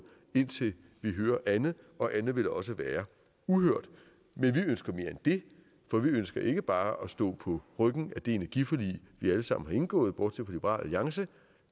indtil vi hører andet og andet vil også være uhørt men vi ønsker mere end det for vi ønsker ikke bare at stå på ryggen af det energiforlig vi alle sammen har indgået bortset fra liberal alliance